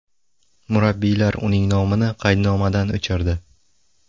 Murabbiylar uning nomini qaydnomadan o‘chirdi.